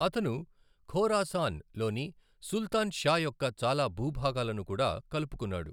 అతను ఖోరాసాన్ లోని Sultan Shah యొక్క చాలా భూభాగాలను కూడా కలుపుకున్నాడు.